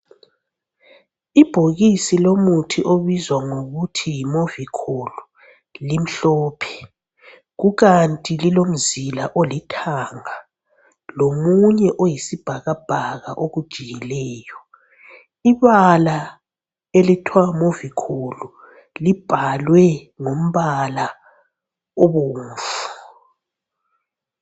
Ibhokisi lomuthi obizwa ngokuthi yi Movicol, limhlophe. Kukanti lilomzila olithanga lomunye oyisibhakabhaka okujiyileyo. Ibala elithwa Movicol libhalwe ngombala obomvu.